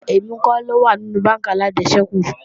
Rárá, èmi kọ́ ló wà nínú bánkì alájẹsẹ́kù